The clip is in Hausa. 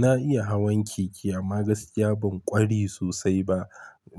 Na iya hawan keke amma gaskiya ban ƙwari sosai ba.